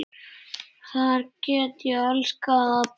Þar get ég elskað alla.